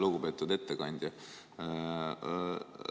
Lugupeetud ettekandja!